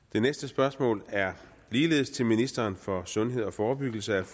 det næste spørgsmål er ligeledes til ministeren for sundhed og forebyggelse og